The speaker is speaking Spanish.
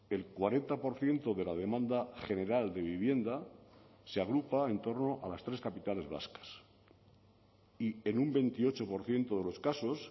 el cuarenta por ciento de la demanda general de vivienda se agrupa en torno a las tres capitales vascas y en un veintiocho por ciento de los casos